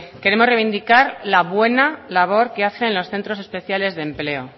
queremos reivindicar la buena labor que hacen los centros especiales de empleo